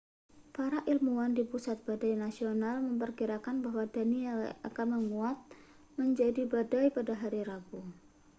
para ilmuwan di pusat badai nasional memperkirakan bahwa danielle akan menguat menjadi badai pada hari rabu